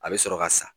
A bɛ sɔrɔ ka sa